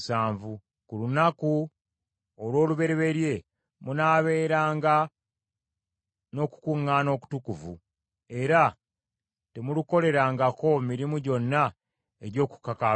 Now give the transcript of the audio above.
Ku lunaku olw’olubereberye munaabeeranga n’okukuŋŋaana okutukuvu; era temulukolerangako mirimu gyonna egy’okukakaalukana.